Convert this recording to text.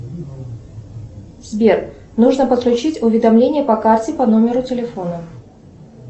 сбер нужно подключить уведомления по карте по номеру телефона